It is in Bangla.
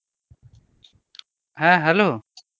হ্যাঁ hello.